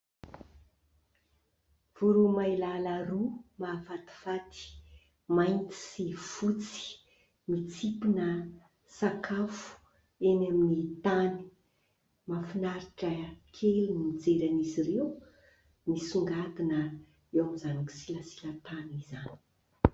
Voromailala roa mahafatifaty mainty sy fotsy mitsimpona sakafo eny amin'ny tany. Mahafinaritra kely ny mijery an' izy ireo misongadina eo amin'izany kisilasila-tany izany.